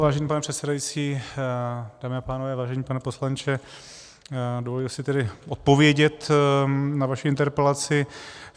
Vážený pane předsedající, dámy a pánové, vážený pane poslanče, dovoluji si tedy odpovědět na vaši interpelaci.